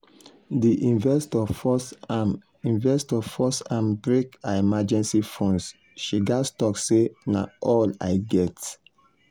d investor force am investor force am break her emergency fund she gats talk say "na all i get".